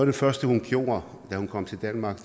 det første hun gjorde da hun kom til danmark